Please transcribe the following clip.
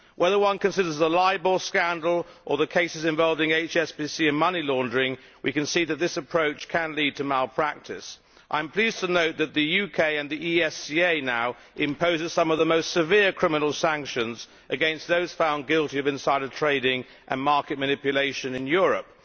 Whether one considers the Libor scandal or the cases involving HSBC and money laundering, we can see that this approach can lead to malpractice. I am pleased to note that the UK and the FCA now impose some of the most severe criminal sanctions against those found guilty of insider trading and market manipulation in Europe.